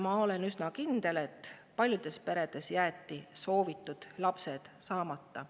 Ma olen üsna kindel, et paljudes peredes on jäetud soovitud lapsed saamata.